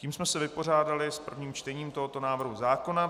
Tím jsme se vypořádali s prvním čtením tohoto návrhu zákona.